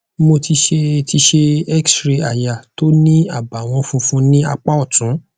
mo ti ṣe ti ṣe xray aya tó ní àbàwon funfun ní apá ọtún